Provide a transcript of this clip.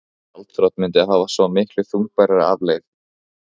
Gjaldþrot mundi hafa svo miklu þungbærari afleið